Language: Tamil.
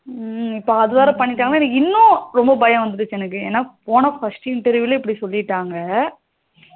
ஹம் இப்போ அதுவேற பன்னிட்டாங்கான இன்னும் எனக்கு பயம் வந்துட்டு எனக்கு போன first interview லே இப்படி சொல்லிட்டாங்க